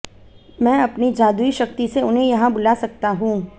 मैं अपनी जादुई शक्ति से उन्हें यहां बुला सकता हूं